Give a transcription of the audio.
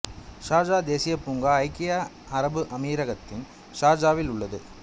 Sharjah தேசியப் பூங்கா ஐக்கிய அரபு அமீரகத்தின் ஷார்ஜாவில் உள்ளது